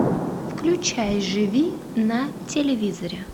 включай живи на телевизоре